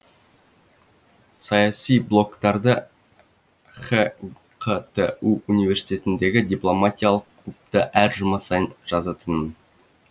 саяси блогтарды хқту университетіндегі дипломатиялық клубта әр жұма сайын жазатынмын